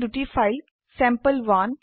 আমি যেনে দুটি ফাইল চেম্পল1